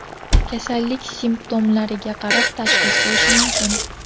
Kasallik simptomlariga qarab tashxis qo‘yish mumkin.